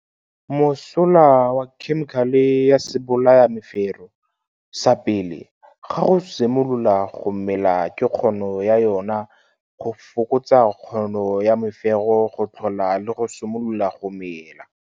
Mosola wa khemikale ya sebolayamefero sa pele ga go simolola go mela ke kgono ya yona go fokotsa kgono ya mefero go tlhoga le go simolola go mela.